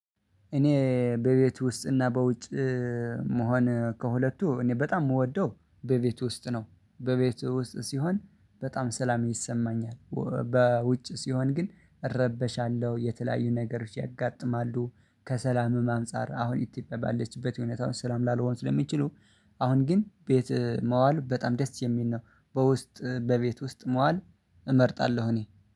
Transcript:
እኔ በቤት ውስጥ እና በውጭ መሆን ከሁለቱ እኔ በጣም የምወደው በቤት ውስጥ ነው። በቤቱ ውስጥ ሲሆን በጣም ሰላም ይሰማኛል በውጭ ሲሆን ግን እረበሻለሁ የተለያዩ ነገሮች ያጋጥማሉ። ከሰላምም አንፃር አሁን ኢትዮጵያ ባለችበት ሁኔታዎች ስላም ላልሆን ስለሚችሉ። አሁን ግን ቤት መዋል በጣም ደስ የሚል ነው። በውስጥ በቤት ውስጥ መዋል እመርጣለሁ። እኔ